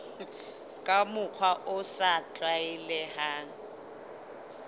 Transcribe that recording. ka mokgwa o sa tlwaelehang